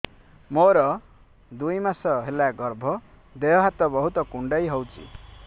ମୋର ଦୁଇ ମାସ ହେଲା ଗର୍ଭ ଦେହ ହାତ ବହୁତ କୁଣ୍ଡାଇ ହଉଚି